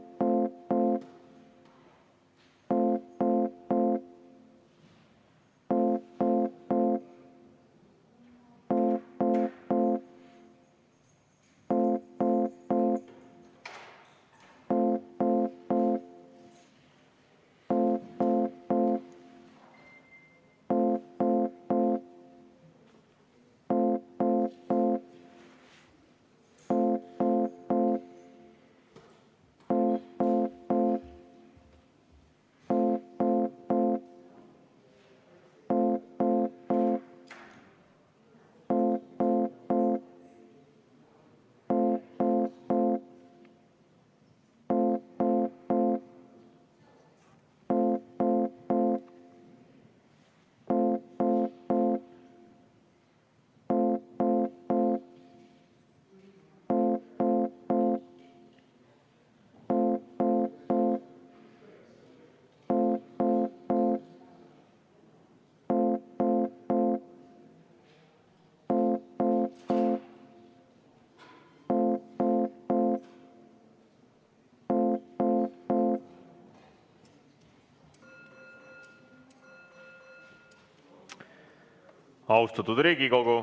Austatud Riigikogu!